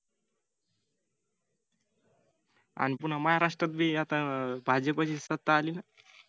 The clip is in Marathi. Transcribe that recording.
आण पून्हा महाराष्ट्रात बी भाजपची सत्ता आली ना